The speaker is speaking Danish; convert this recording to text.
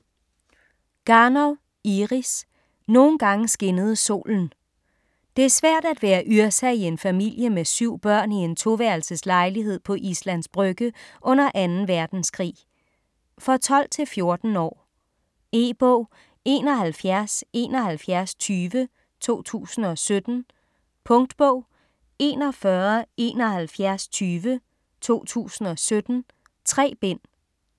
Garnov, Iris: Nogen gange skinnede solen Det er svært at være Yrsa i en familie med syv børn i en 2-værelses lejlighed på Islands Brygge under 2. verdenskrig. For 12-14 år. E-bog 717120 2017. Punktbog 417120 2017. 3 bind.